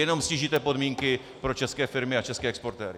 Jenom ztížíte podmínky pro české firmy a české exportéry.